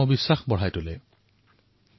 আপোনালোক সকলোকে ২০১৯ চনৰ অশেষ শুভকামনা